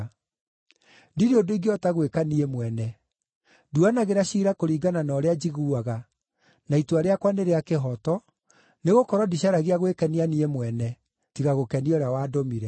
Ndirĩ ũndũ ingĩhota gwĩka niĩ mwene; nduanagĩra ciira kũringana na ũrĩa njiguaga, na itua rĩakwa nĩ rĩa kĩhooto, nĩgũkorwo ndicaragia gwĩkenia niĩ mwene, tiga gũkenia ũrĩa wandũmire.